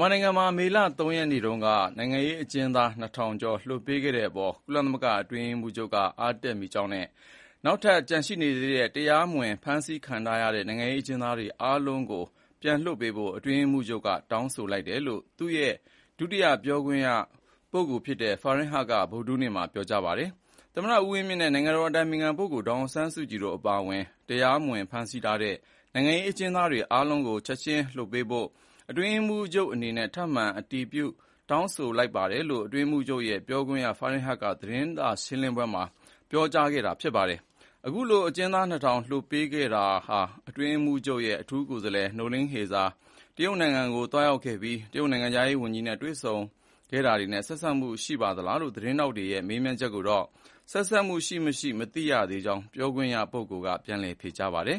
မြန်မာနိုင်ငံမှာ မေလ ၃ ရက်နေ့က နိုင်ငံရေးကျဉ်းသား ၂,၀၀၀ ကျော်လွှတ်ပေးခဲ့တဲ့အပေါ် ကုလသမဂ္ဂအတွင်းရေးမှူးချုပ်က အားတက်မိကြောင်းနဲ့ နောက်ထပ်ကျန်ရှိနေတဲ့ တရားမဝင်ဖမ်းဆီးခံထားရတဲ့ နိုင်ငံရေးအကျဉ်းသားအားလုံးကိုလွှတ်ပေးဖို့ အတွင်းရေးမှူးချုပ်ကတောင်းဆိုတယ်လို့ သူ့ရဲ့ ဒုတိယပြောရေးဆိုခွင့်ရှိသူ ဖာဟင်ဟတ်က ဗုဒ္ဓဟူးနေ့မှာပြောခဲ့ပါတယ်။ “သမ္မတဦးဝင်းမြင့်နဲ့ နိုင်ငံတော်အတိုင်ပင်ခံ ဒေါ်ဆောင်ဆန်းစုကြည်တို့အပါအဝင် တရားမဝင် ဖမ်းဆီးထားတဲ့ နိုင်ငံရေးအကျဉ်းသားအားလုံးကို ချက်ခြင်းလွှတ်ပေးဖို့ အတွင်းရေးမှူးချုပ်အနေနဲ့ ထပ်မံအတည်ပြုတောင်းဆိုပါတယ်။” လို့ အတွင်းရေးမှူးချုပ်ရဲ့ ဒုတိယပြောရေးဆိုခွင့်ရှိသူ ဖာဟင်ဟတ်က သတင်းထောက်တွေကို ပြောသွားခဲ့တာပါ။ အခုလို အကျဉ်းသား ၂,၀၀၀ ကျော်လွှတ်ပေးခဲ့တာဟာ အတွင်းရေးမှူးချုပ်ရဲ့ အထူးကိုယ်စားလှယ်နိုလင်းဟေဇာ တရုတ်ကိုသွားခဲ့ပြီး တရုတ်နိုင်ငံခြားရေးဝန်ကြီးနဲ့ တွေ့ဆုံခဲ့တာတွေနဲ့ဆက်စပ်မှုရှိပါသလားလို့ သတင်းထောက်တွေရဲ့ မေးမြန်းတာကိုတော့ ဆက်စပ်မှုရှိမရှိမသိရှိကြောင်း ပြောရေးဆိုခွင့်ရှိသူကပြန်လည်ဖြေကြားခဲ့ပါတယ်